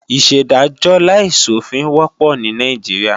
Ìṣèdájọ́ láìsòfin wọ́pọ̀ ní Nàìjíríà